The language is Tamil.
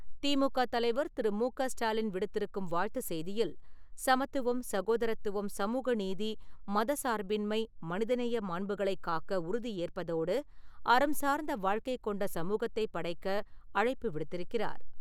திமுக தலைவர் திரு. மு. க. ஸ்டாலின் விடுத்திருக்கும் வாழ்த்து செய்தியில், சமத்துவம், சகோதரத்துவம், சமூகநீதி, மதச்சார்பின்மை, மனிதநேய மாண்புகளைக் காக்க உறுதியேற்பதோடு, அறம் சார்ந்த வாழ்க்கை கொண்ட சமூகத்தை படைக்க அழைப்பு விடுத்திருக்கிறார்.